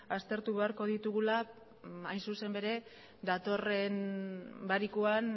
aztertu beharko ditugula hain zuzen ere datorren barikuan